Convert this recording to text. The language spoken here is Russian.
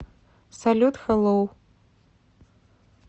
салют хэлоу